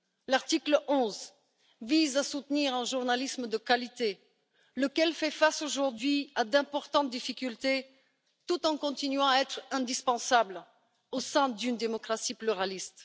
L'article 11 vise à soutenir un journalisme de qualité, lequel fait face aujourd'hui à d'importantes difficultés, tout en continuant à être indispensable au sein d'une démocratie pluraliste.